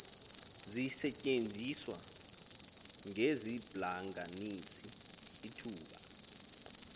zisetyenziswa njengeziblanganisi utuba